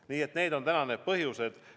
Nii et need on täna need põhjused.